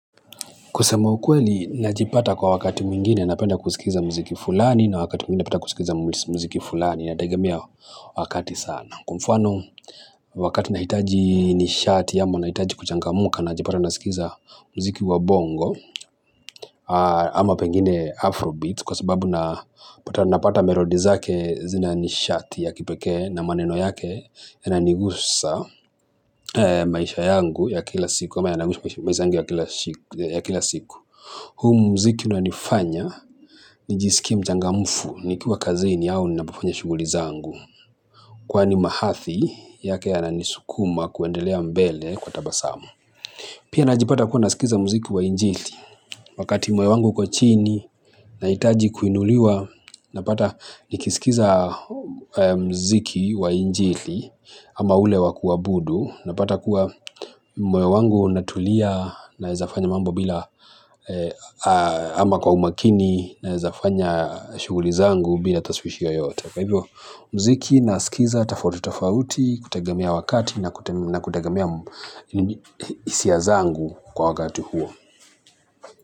Kusema ukweli najipata kwa wakati mwingine napenda kusikiza mziki fulani na wakati mwingine napenda kusikiza mziki fulani inategemea wakati sana. Kwa mfano wakati nahitaji nishati ya ama nahitaji kuchangamka najipata nasikiza mziki wa bongo ama pengine afrobeats kwa sababu na napata merody zake zina nishati ya kipekee na maneno yake yananigusa maisha yangu ya kila siku. Huu mziki un nifanya nijisikie mchangamufu nikiwa kazini au ninapofanya shughuli zangu. Kwani mahathi yake yananisukuma kuendelea mbele kwa tabasamu. Pia najipata kuwa nasikiza mziki wa injili. Wakati moyo wangu kwa chini nahitaji kuinuliwa. Napata nikisikiza mziki wa injili ama ule wa kuabudu. Napata kuwa moyo wangu unatulia naeza fanya mambo bila ama kwa umakini naeza fanya shughuli zangu bila taswishi yoyote. Kwa hivyo mziki naskiza tafauti tafauti kutegemea wakati na kutegema hisia zangu kwa wakati huo.